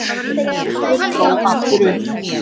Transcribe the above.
Hreggviður dró aftur upp